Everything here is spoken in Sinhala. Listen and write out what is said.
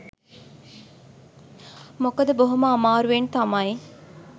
මොකද බොහොම අමාරුවෙන් තමයි